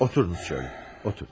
Oturun şöylə, otur.